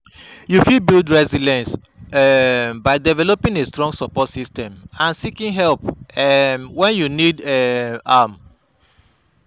You fit build resilience um by developing a strong support system and seeking help um when you need um am.